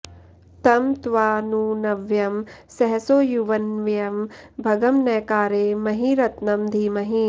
तं त्वा नु नव्यं सहसो युवन्वयं भगं न कारे महिरत्न धीमहि